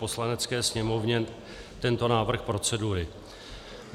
Poslanecké sněmovně tento návrh procedury: